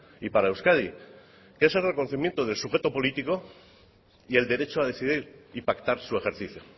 y para euskadi que ese reconocimiento del sujeto político y el derecho a decidir y pactar su ejercicio